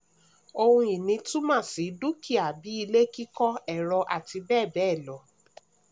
ohun-ìní' túmọ̀ sí dúkìá bíi ilé kíkọ́ ẹ̀rọ àti bẹ́ẹ̀ bẹ́ẹ̀ lọ.